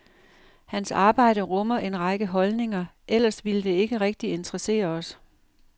Hans arbejde rummer en række holdninger, ellers ville det ikke rigtig interessere os.